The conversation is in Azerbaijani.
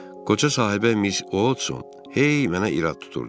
Qoca sahibə Miss Watson hey mənə irad tuturdu.